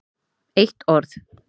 Eitt orð